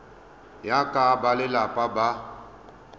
ya ka fa balelapa ba